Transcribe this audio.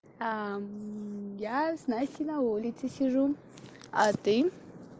а я с настей на улице сижу а ты